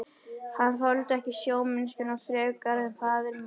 Hann þoldi ekki sjómennskuna frekar en faðir minn.